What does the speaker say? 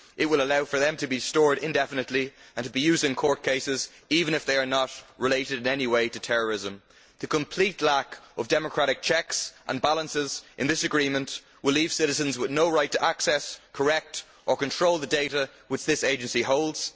It will allow for data to be stored indefinitely and to be used in court cases even if they are not related in any way to terrorism. The complete lack of democratic checks and balances in this agreement will leave citizens with no right to access, correct or control the data which this agency holds.